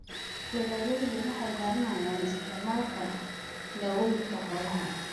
Beeraleydu waxay baranayaan isticmaalka dawooyinka xoolaha.